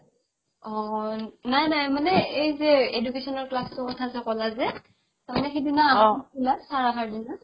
অ অ নাই নাই মানে এই যে education ৰ class তোৰ কথা যে ক'লা যে তাৰমানে সিদিনা আহা নাছিলা sir আহাৰ দিনা